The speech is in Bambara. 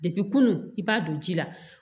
kunun i b'a don ji la